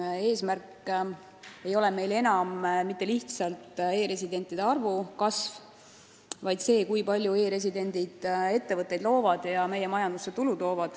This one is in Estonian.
Ja eesmärk ei ole enam mitte lihtsalt e-residentide arvu kasv, vaid see, et e-residendid looksid ettevõtteid ja tooksid meie majandusse tulu.